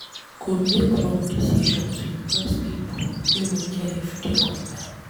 You go make wrong decision to impress pipo wey no care if you dey compare.